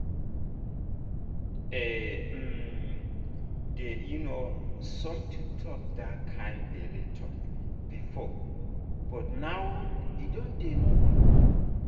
e um dey um somehow to talk that kind belle talk before but now e don dey normal.